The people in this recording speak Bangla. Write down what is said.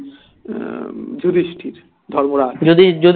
উম যুধিষ্ঠির ধর্মরাজ